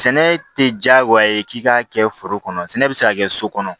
Sɛnɛ tɛ diyagoya ye k'i k'a kɛ foro kɔnɔ sɛnɛ bɛ se ka kɛ so kɔnɔ